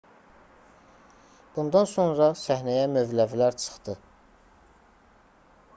bundan sonra səhnəyə mövləvilər çıxdı